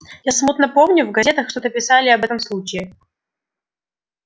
я смутно помню в газетах что-то писали об этом случае